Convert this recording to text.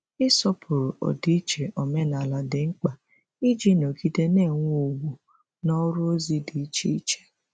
Ịsọpụrụ ọdịiche omenala dị mkpa iji nọgide na-enwe ugwu n’ọrụ ozi dị iche iche.